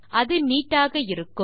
அது நீட் ஆக இருக்கும்